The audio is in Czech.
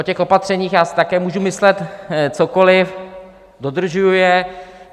O těch opatřeních já si také můžu myslet cokoli, dodržuji je.